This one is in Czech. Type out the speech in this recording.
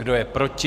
Kdo je proti?